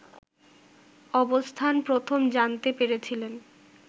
অবস্থান প্রথম জানতে পেরেছিলেন